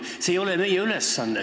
See ei ole meie ülesanne.